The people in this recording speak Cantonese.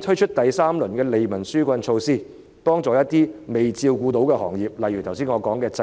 推出第三輪利民紓困措施，幫助一些尚未照顧到的行業便可，例如我剛才提及的製造業。